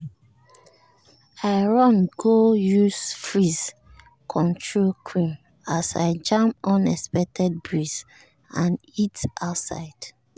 i run go use frizz-control cream as i jam unexpected breeze and heat outside.